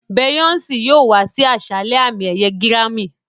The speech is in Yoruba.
Beyoncé yóò wá sí àṣálẹ́ àmì-ẹ̀yẹ gírámì.